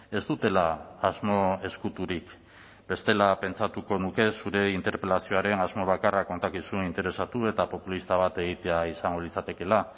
ez dutela asmo ezkuturik bestela pentsatuko nuke zure interpelazioaren asmoa bakarra kontakizun interesatu eta populista bat egitea izango litzatekeela